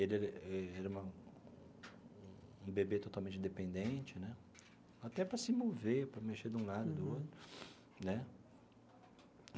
Ele era uma um bebê totalmente dependente né, até para se mover, para mexer de um lado ou do outro né.